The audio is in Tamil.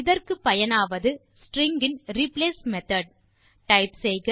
இதற்கு பயனாவது ரிப்ளேஸ் மெத்தோட் ஒஃப் ஸ்ட்ரிங்ஸ்